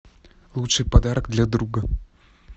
лучший подарок для друга